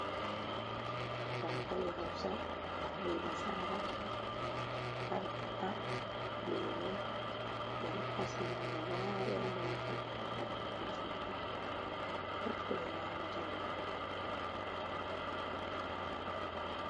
Dankali hausa, be nasara, kankana, lemu ɓe ɗo kasi dum gaba daya majum. Pat kobe nyamata on